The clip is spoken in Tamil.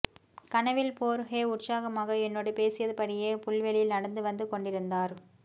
கனவில் போர்ஹே உற்சாகமாக என்னோடு பேசியபடியே புல்வெளியில் நடந்து வந்து கொண்டிருந்தார்